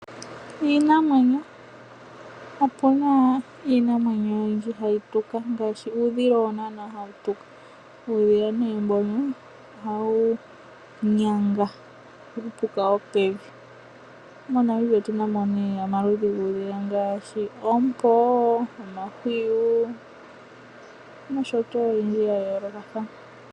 Iinamwenyo Opu naiinamwenyo oyindji hayi tuka ngaashi uudhila. Uudhila ohawu nyanga uupuka wopevi. MoNamibia otu na mo omaludhi guudhila ngaashi oompo, omahwiyu nosho tuu owundji wa yoolokathana.